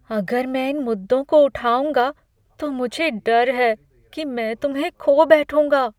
अगर मैं इन मुद्दों को उठाउँगा तो मुझे डर है कि मैं तुम्हें खो बैठूंगा।